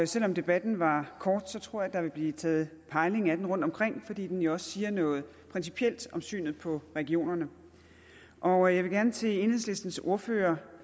selv om debatten var kort tror jeg der vil blive taget pejling af den rundtomkring fordi den jo også siger noget principielt om synet på regionerne og jeg vil gerne til enhedslistens ordfører